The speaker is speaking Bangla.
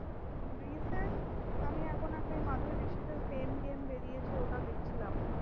আমি এখন একটা madhyamik প্রেম game বেরিছে ওটা দেখছিলাম।